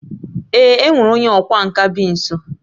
Ee, e nwere onye ọkwá nkà bi nso